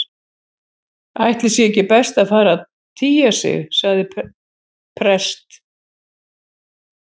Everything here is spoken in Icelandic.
Ætli sé ekki best að fara að tygja sig- sagði prest